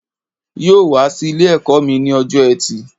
Yóò wá sí Ilé ẹ̀kọ́ mi ní ọjọ́ ẹtì